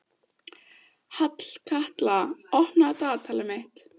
Hallkatla, opnaðu dagatalið mitt.